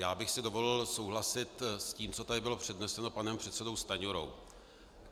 Já bych si dovolil souhlasit s tím, co tady bylo předneseno panem předsedou Stanjurou.